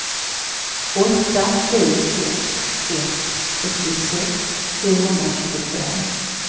åtta sju sex ett sextiosex sjuhundratjugofem